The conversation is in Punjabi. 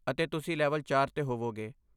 ਅਤੇ ਤੁਸੀਂ ਲੈਵਲ ਚਾਰ 'ਤੇ ਹੋਵੋਗੇ